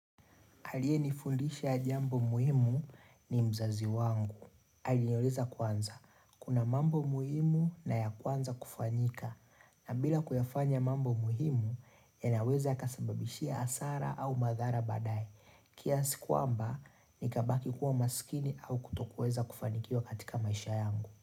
Aliyenifundisha jambo muhimu ni mzazi wangu. Aliniuliza kwanza, kuna mambo muhimu na ya kwanza kufanyika. Na bila kuyafanya mambo muhimu, yanaweza kasababishia hasara au madhara badaye. Kiasi kwamba, nikabaki kuwa maskini au kutokuweza kufanikiwa katika maisha yangu.